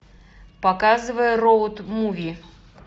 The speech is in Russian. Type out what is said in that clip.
показывай роуд муви